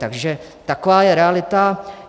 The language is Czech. Takže taková je realita.